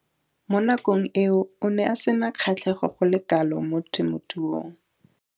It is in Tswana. Mo nakong eo o ne a sena kgatlhego go le kalo mo temothuong.